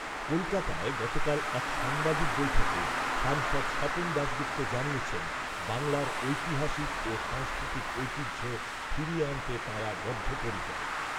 কলকাতায় গতকাল এক সাংবাদিক বৈঠকে সাংসদ স্বপন দাশগুপ্ত জানিয়েছেন, বাংলার ঐতিহাসিক ও সাংস্কৃতিক ঐতিহ্য ফিরিয়ে আনতে তাঁরা বদ্ধপরিকর।